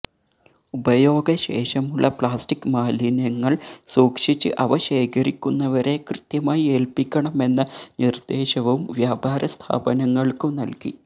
ഉപയോഗശേഷമുള്ള plastic മാലിന്യങ്ങള് സൂക്ഷിച്ച് അവ ശേഖരിക്കുന്നവരെ കൃത്യമായി ഏല്പിക്കണമെന്ന നിര്ദേശവും വ്യാപാര സ്ഥാപങ്ങള്ക്കു നല്കി